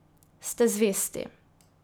Ste zvesti.